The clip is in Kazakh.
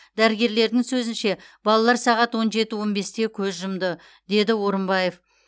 дәрігерлердің сөзінше балалар сағат он жеті он бесте көз жұмды деді орымбаев